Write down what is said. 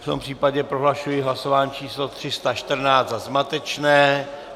V tom případě prohlašuji hlasování číslo 314 za zmatečné.